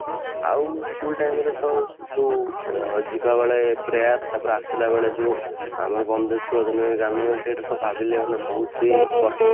ଆଉ school time ରେ ତ ଯୋଉ ଯିବା ବେଳେ prayer ତାପରେ ଆସିଲା ବେଳେ ଯୋଉ ଆମର ବନ୍ଦେ ଉତ୍କଳ ଜନନୀ ଗାନ ହୁଏ ସେଇଟା ତ ସବୁ ଭାବିଲେ ମାନେ ବହୁତ